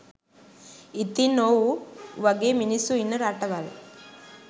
ඉතින් ඔව් වගේ මිනිස්සු ඉන්න රටවල්